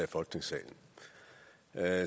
er